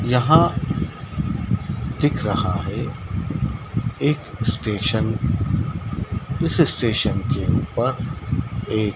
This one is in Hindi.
यहां दिख रहा है एक स्टेशन इस स्टेशन के ऊपर एक --